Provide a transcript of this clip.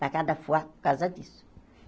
Dá cada fuá por causa disso.